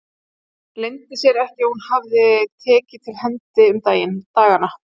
Leyndi sér ekki að hún hafði tekið til hendi um dagana.